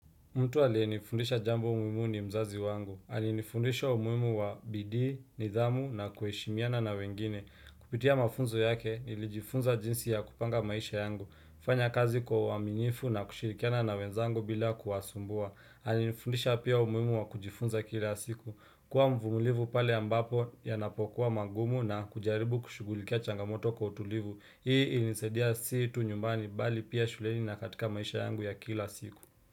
Mtu aliyenifundisha jambo muhimu ni mzazi wangu. Alinifundisha umuhimu wa bidii, nidhamu na kuheshimiana na wengine. Kupitia mafunzo yake nilijifunza jinsi ya kupanga maisha yangu. Kufanya kazi kwa uwaminifu na kushirikiana na wenzangu bila kuwasumbua. Alinifundisha pia umuhimu wa kujifunza kila siku. Kuwa mvumilivu pale ambapo yanapokuwa magumu na kujaribu kushugulikia changamoto kwa utulivu. Hii ilinisaidia si tu nyumbani bali pia shuleni na katika maisha yangu ya kila siku.